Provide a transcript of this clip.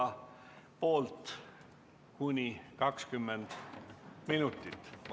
Selle pikkus on kuni 20 minutit.